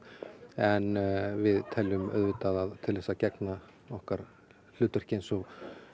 en við teljum að til þess að gegna okkar hlutverki eins og